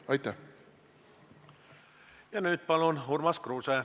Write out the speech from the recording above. Ja nüüd Urmas Kruuse, palun!